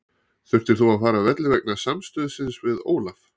Þurftir þú að fara af velli vegna samstuðsins við Ólaf?